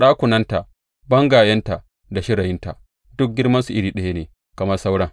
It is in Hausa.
Ɗakunanta, bangayenta da shirayinta duk girmansu iri ɗaya ne kamar sauran.